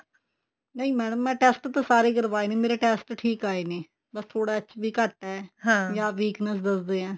ਨਹੀਂ madam ਮੈਂ test ਤਾਂ ਸਾਰੇ ਕਰਵਾਏ ਨੇ ਮੇਰੇ test ਠੀਕ ਆਏ ਨੇ ਬੱਸ ਥੋੜਾ HB ਘੱਟ ਹੈ